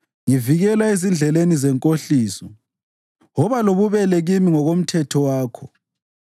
Ngivikela ezindleleni zenkohliso; woba lobubele kimi ngokomthetho wakho.